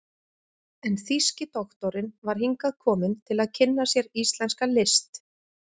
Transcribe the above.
en þýski doktorinn var hingað kominn til að kynna sér íslenska list.